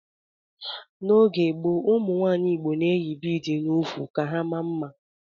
N'oge gboo, umunwanyi igbo na-eyi bịịdị n'úkwù ka ha maa mma.